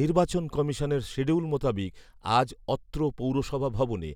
নির্বাচন কমিশনের সিডিউল মোতাবেক আজ অত্র পৌরসভা ভবনে